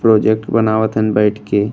Project बनावत हइन बइठ के।